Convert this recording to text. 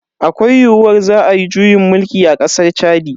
Akwai yiyuwar za ayi juyin mulki a kasar Chadi.